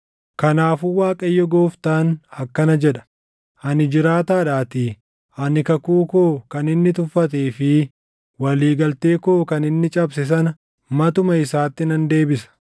“ ‘Kanaafuu Waaqayyo Gooftaan akkana jedha: Ani jiraataadhaatii, ani kakuu koo kan inni tuffatee fi walii galtee koo kan inni cabse sana matuma isaatti nan deebisa.